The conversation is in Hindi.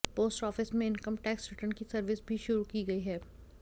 पोस्ट ऑफिस में इनकम टैक्स रिटर्न की सर्विस भी शुरू की गई है